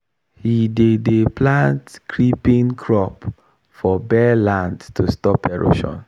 he dey dey plant creeping crop for bare land to stop erosion